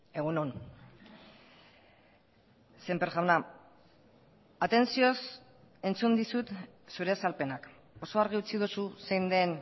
egun on sémper jauna atentzioz entzun dizut zure azalpenak oso argi utzi duzu zein den